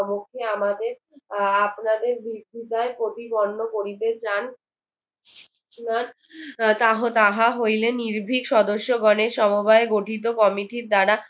সম্মুখে আমাদের আহ আপনাদের প্রতিবন্ধ করিতেচান তাহ~ তাহা হইলে নির্ভিক সদস্যগণের সমবায়ে গঠিত committee ধারা